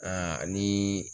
ni